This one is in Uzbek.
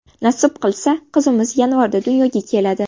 Nasib qilsa, qizimiz yanvarda dunyoga keladi.